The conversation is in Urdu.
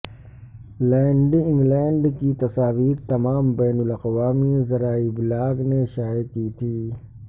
لینڈی انگلینڈ کی تصاویر تمام بین الاقوامی ذرائع ابلاغ نے شائع کی تھیں